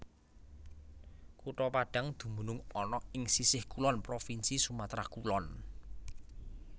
Kutha Padang dumunung ana ing sisih kulon Provinsi Sumatra Kulon